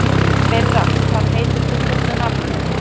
Myrra, hvað heitir þú fullu nafni?